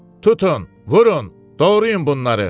Tutun, vurun, doğrayın bunları!